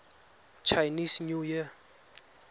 chinese new year